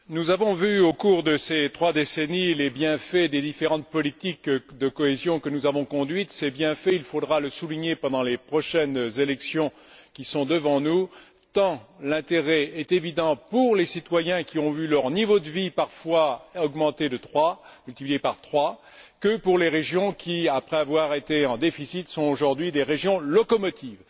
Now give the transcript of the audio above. Madame la Présidente, Madame la Commissaire, nous avons vu au cours de ces trois décennies les bienfaits des différentes politiques de cohésion que nous avons conduites. Ces bienfaits, il faudra les souligner pendant les prochaines élections qui sont devant nous, tant l'intérêt est évident pour les citoyens qui ont vu leur niveau de vie parfois multiplier par trois, que pour les régions qui, après avoir été en déficit, sont aujourd'hui des régions locomotives.